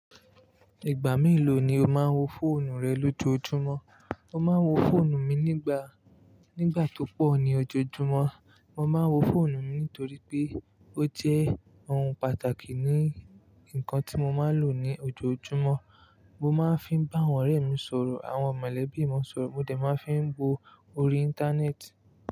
Ìgbà melò ní o máa ń wo fóònù rẹ lójoójúmọ́? Mo máa ń wo fóònù mi nígbà, nígbà tó pọ̀ ní ojoojúmọ́. Mo máa ń wo fóònù mi nítorí pé ó jẹ́ ohun pàtàkì ní ǹkan tí mo máa ń lò ní ojoojúmọ́. Mo máa ń fi bá àwọn ọ̀rẹ́ mi sọ̀rọ̀, àwọn mọ̀lẹ́bí mi sọ̀rọ̀. Mo dẹ̀ máa ń fi wo orí Íńtánẹ́ẹ̀tì.